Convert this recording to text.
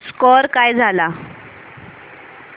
score काय झाला